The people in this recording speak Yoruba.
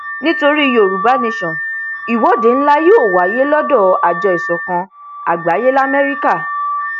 nítorí yorùbá nation ìwọde ńlá yóò wáyé lọdọ àjọ ìsọkan àgbáyé lamẹríkà